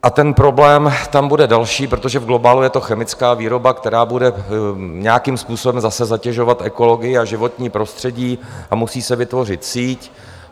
A ten problém tam bude další, protože v globálu je to chemická výroba, která bude nějakým způsobem zase zatěžovat ekologii a životní prostředí, a musí se vytvořit síť.